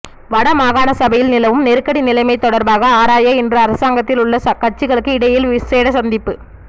வட மாகாணசபையில் நிலவும் நெருக்கடி நிலைமை தொடர்பாக ஆராய இன்று அரசாங்கத்தில் உள்ள கட்சிகளுக்கு இடையில் விசேட சந்திப்பு